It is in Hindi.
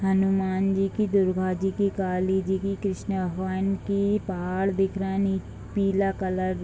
हनुमान जी की दुर्गा जी की काली जी की कृष्णा भगवान की पहाड़ दिख रहा है पीला कलर --